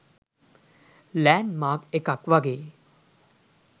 land Mark එකක් වගේ